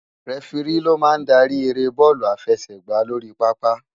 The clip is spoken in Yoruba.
Rèfiri ló má n dári éré bòlú àláfèsègbá lóri pàápá